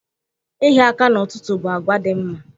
Ịhịa aka n'ụtụtụ bụ àgwà dị mma.